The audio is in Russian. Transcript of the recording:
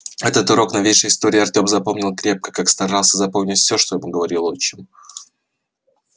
этот урок новейшей истории артем запомнил крепко как старался запоминать все что ему говорил отчим